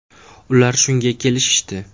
Ular shunga kelishishdi.